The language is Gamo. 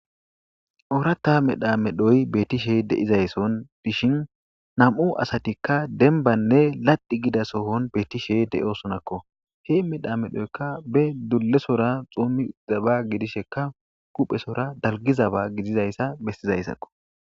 Oorata medha medhoy bettishe deizaysson dishin nam'u asatikka denbanne ladi gida sohon beettishe de'osonakko he medhamedhoykka be dulesora xuumi zaba gidishekka kuphesora dalgizaba gidizayssa bessizayssakko.